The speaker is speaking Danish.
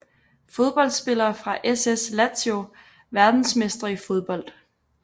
Fodboldspillere fra SS Lazio Verdensmestre i fodbold